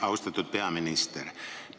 Austatud peaminister!